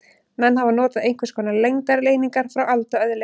Menn hafa notað einhvers konar lengdareiningar frá alda öðli.